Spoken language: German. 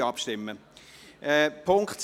Wir stimmen ab.